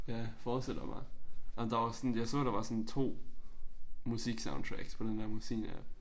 Jeg forestiller mig at der var sådan jeg så der var sådan 2 musiksoundtracks på den der musikapp